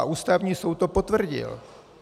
A Ústavní soud to potvrdil.